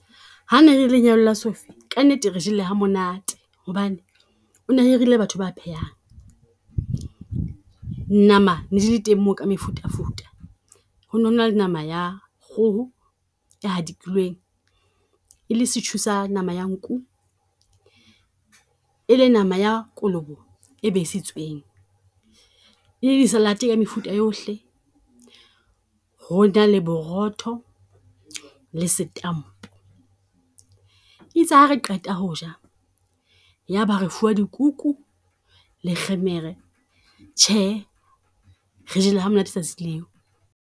Ha ne le lenyalo la Sophie ka nnete re jele ha monate, hobane o na hirile batho ba phelang. Nama ne di le teng moo ka mefuta futa, ho no na le nama ya kgoho e hadikilweng, e le setjhu sa nama ya nku, e le nama ya kolobe e besitsweng. E le di salad-e ka mefuta yohle, ho na le borotho le setampo. E itse ha re qeta ho ja, ya ba re fuwa dikuku le kgemere. Tjhe re jele ha monate tsatsing leo.